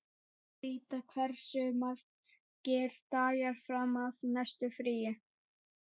Ríta, hversu margir dagar fram að næsta fríi?